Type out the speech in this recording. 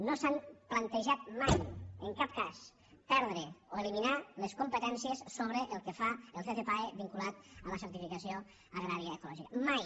no s’han plantejat mai en cap cas perdre o eliminar les competències sobre el que fa el ccpae vinculat a la certificació agrària ecològica mai